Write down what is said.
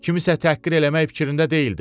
Kimisə təhqir eləmək fikrində deyildim.